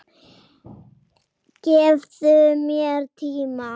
Gefðu mér tíma.